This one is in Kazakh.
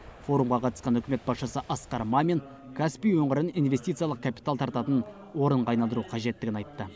форумға қатысқан үкімет басшысы асқар мамин каспий өңірін инвестициялық капитал тартатын орынға айналдыру қажеттігін айтты